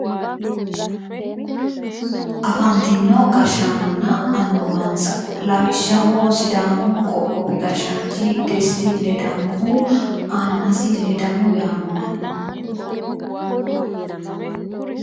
afantino gashshannonna annuwansa lawishshaho sidaamu qoqqowi gashshaanchi desti ledamohu annasi ledamo yaamamanno.